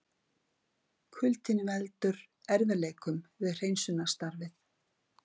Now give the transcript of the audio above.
Kuldinn veldur erfiðleikum við hreinsunarstarfið